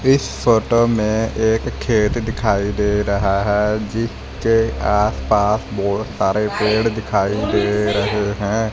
इस फोटो में एक खेत दिखाई दे रहा है जिसके आसपास बहुत सारे पेड़ दिखाई दे रहे हैं।